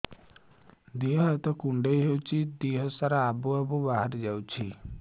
ଦିହ ହାତ କୁଣ୍ଡେଇ ହଉଛି ଦିହ ସାରା ଆବୁ ଆବୁ ବାହାରି ଯାଉଛି